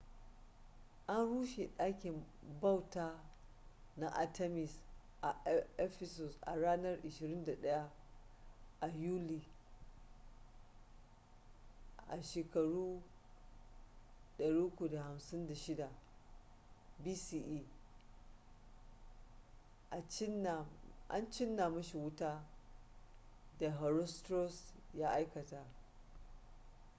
an rushe ɗakin bauta na artemis a ephesus a ranar 21 a yuli 356 bce a cinna mashi wuta da herostratus ya aikata